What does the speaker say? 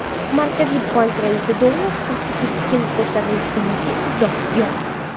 Markaziy bank raisi dollar kursi keskin ko‘tarilganiga izoh berdi.